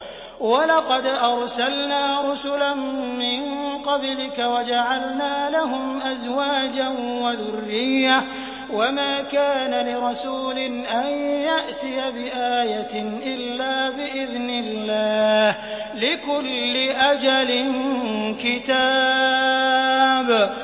وَلَقَدْ أَرْسَلْنَا رُسُلًا مِّن قَبْلِكَ وَجَعَلْنَا لَهُمْ أَزْوَاجًا وَذُرِّيَّةً ۚ وَمَا كَانَ لِرَسُولٍ أَن يَأْتِيَ بِآيَةٍ إِلَّا بِإِذْنِ اللَّهِ ۗ لِكُلِّ أَجَلٍ كِتَابٌ